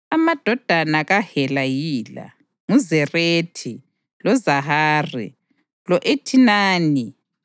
Amadodana kaHela yila: nguZerethi, loZohari, lo-Ethinani,